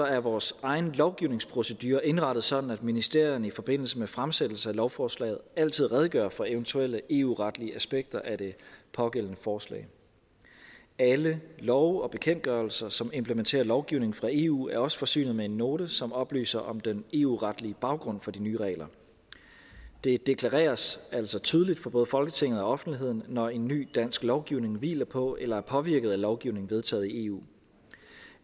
er vores egen lovgivningsprocedure indrettet sådan at ministerierne i forbindelse med fremsættelse af et lovforslag altid redegør for eventuelle eu retlige aspekter af det pågældende forslag alle love og bekendtgørelser som implementerer lovgivning fra eu er også forsynet med en note som oplyser om den eu retlige baggrund for de nye regler det deklareres altså tydeligt for både folketinget og offentligheden når en ny dansk lovgivning hviler på eller er påvirket af lovgivning vedtaget i eu